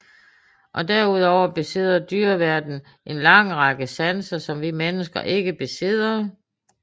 Derudover besidder dyreverdenen en lang række sanser som vi mennesker ikke besidder